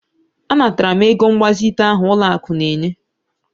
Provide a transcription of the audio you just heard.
Anatara m ego mgbazite ahụ ụlọakụ na-enye